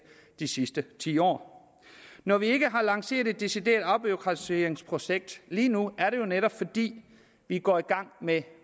de sidste ti år når vi ikke har lanceret et decideret afbureaukratiseringsprojekt lige nu er det jo netop fordi vi går i gang med